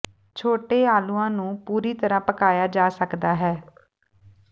ਛੋਟੇ ਆਲੂਆਂ ਨੂੰ ਪੂਰੀ ਤਰ੍ਹਾਂ ਪਕਾਇਆ ਜਾ ਸਕਦਾ ਹੈ